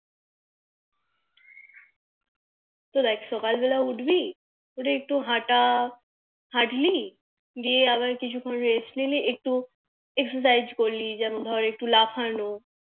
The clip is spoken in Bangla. তো দেখ সকাল বেলায় উঠবি উঠে একটু হাটা হাটলি দিয়ে আবার কিছু খন Rest নিলি একটু Exercise করলি যেমন একটু লাফানো